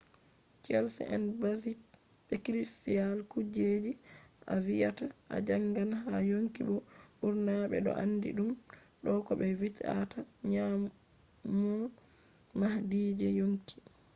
cells en basic be critical kuje je a viyata a jangan ha yonki bo ɓurna ɓe ɗo andi ɗum do ko ɓe vi’ata nyimol mahdi je yonki